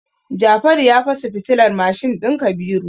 Jafaru ya fasa fitilar mashin din Kabiru.